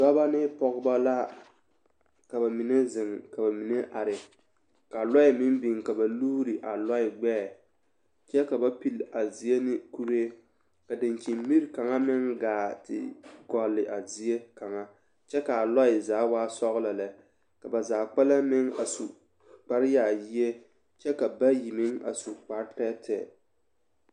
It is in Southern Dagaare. Dɔbɔ ne pɔgebɔ la ka bamine zeŋ ka bamine are ka lɔɛ meŋ biŋ ka ba luuri a gbɛɛ kyɛ ka ba pilli a zie ne kuree ka dankyini miri kaŋa meŋ gaa te gɔlle a zie kaŋa kyɛ k'a lɔɛ zaa waa sɔgelɔ lɛ ka ba zaa kpɛlɛm meŋ a su kpare yaayie kyɛ ka bayi meŋ a su kpare tɛɛtɛɛ.